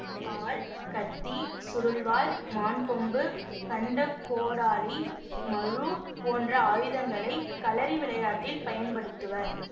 வாள் கத்தி சுருள்வாள் மான்கொம்பு கண்டகோடாலி மழு போன்ற ஆயுதங்களை களரி விளையாட்டில் பயன்படுத்துவர்